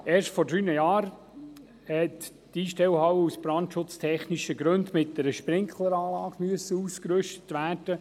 Erst vor drei Jahren musste sie aus brandschutztechnischen Gründen mit einer Sprinkleranlage ausgerüstet werden.